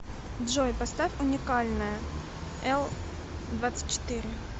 джой поставь уникальная элдвадцатьчетыре